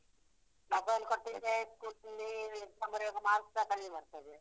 Mobile ಕೊಡ್ತಿದ್ರೆ exam ಬರಿವಾಗ marks ಸ ಕಡಿಮೆ ಬರ್ತದೆ.